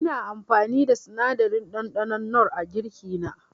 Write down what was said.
Ina amfani da sinadarin ɗanɗanon nor a girki na.